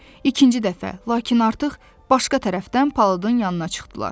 İkinci dəfə, lakin artıq başqa tərəfdən palıdın yanına çıxdılar.